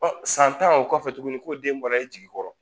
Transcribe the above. san tan o kɔfɛ tuguni k'o den bɔra e jigi kɔrɔ